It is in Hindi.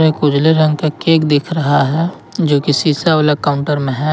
एक उजले रंग का केक दिख रहा है जो की शीशा वाला काउंटर में है।